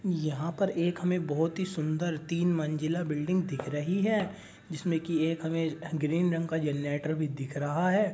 यहाँ पर एक हमें बहुत ही सुन्दर तीन मंजिला बिल्डिंग दिख रही है। जिसमे की एक हमें ग्रीन रंग का जेनलेटर भी दिख रहा है।